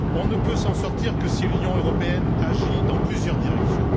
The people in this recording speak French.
On ne peut s'en sortir que si l'Union européenne agit dans plusieurs directions.